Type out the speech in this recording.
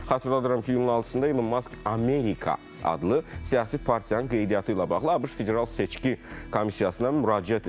Xatırladıram ki, iyulun 6-da Elon Musk “Amerika” adlı siyasi partiyanın qeydiyyatı ilə bağlı ABŞ Federal Seçki Komissiyasına müraciət edib.